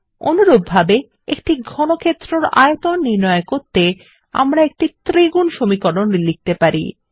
অনুরূপভাবে একটি ঘনক্ষেত্রের আয়তন নির্ণয় করতে আমরা একটি ত্রিগুণ সমকলন লিখতে পারি